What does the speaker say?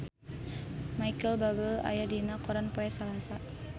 Micheal Bubble aya dina koran poe Salasa